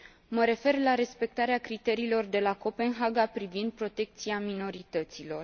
Mă refer la respectarea criteriilor de la Copenhaga privind protecția minorităților.